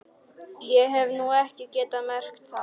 Ég hef nú ekki getað merkt það.